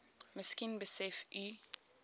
miskien besef u